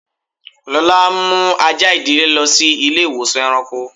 Lọla n mú àjà idílé lọ sí ilẹ̀-ìwọ̀sàn èràṇkọ́.